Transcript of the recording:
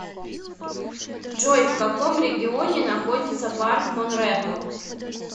джой в каком регионе находится парк монрепо